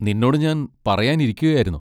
നിന്നോട് ഞാൻ പറയാൻ ഇരിക്കുകയായിരുന്നു.